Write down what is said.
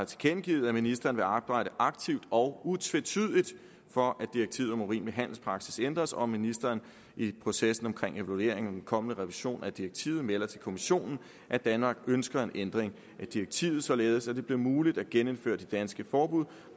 tilkendegivet at ministeren vil arbejde aktivt og utvetydigt for at direktivet om urimelig handelspraksis ændres og at ministeren i processen omkring evaluering og den kommende revision af direktivet melder til kommissionen at danmark ønsker en ændring af direktivet således at det bliver muligt at genindføre det danske forbud